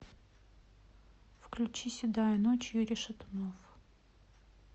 включи седая ночь юрий шатунов